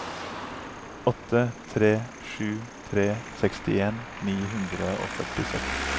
åtte tre sju tre sekstien ni hundre og førtiseks